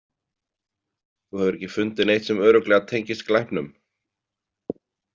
Þú hefur ekki fundið neitt sem örugglega tengist glæpnum?